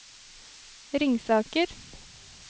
Ringsaker